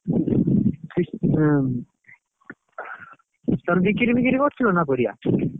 ହଁ, ତମେ ବିକିରି ଫିକରି କରୁଥିଲା ନା ପରିବା?